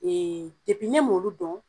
ne m'olu dɔn